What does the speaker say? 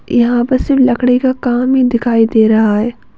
यहाँ पर सिर्फ लकड़ी का काम ही दिखाई दे रहा है।